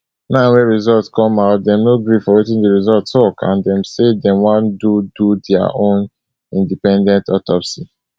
now wey result come out dem no gree for wetin di result tok and dem wan do do dia own independent autopsy